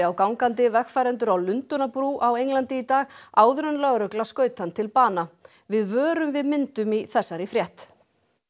á gangandi vegfarendur á Lundúnabrú á Englandi í dag áður en lögregla skaut hann til bana við vörum við myndum í þessari frétt